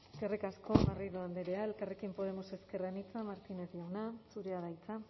eskerrik asko garrido andrea elkarrekin podemos ezker anitza martínez jauna zurea da hitza